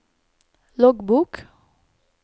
loggbok